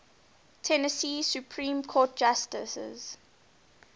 tennessee supreme court justices